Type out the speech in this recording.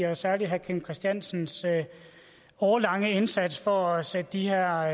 og særlig herre kim christiansens årelange indsats for at sætte de her